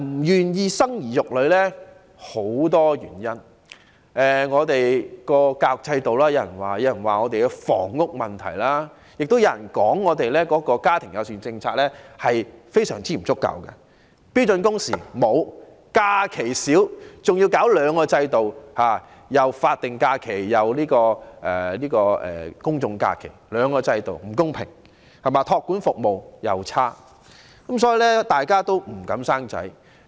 原因有許多，有說是因為我們的教育制度不可靠，有人認為是房屋問題，亦有人認為是因為香港的家庭友善政策非常不足，沒有訂定標準工時、假期少兼且法定假期與公眾假期之間的差異造成不公平，而且託兒服務差勁，所以大家也不敢生小孩。